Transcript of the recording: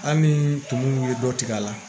Hali ni tumu ye dɔ tigɛ a la